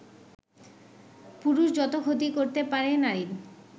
পুরুষ যত ক্ষতি করতে পারে নারীর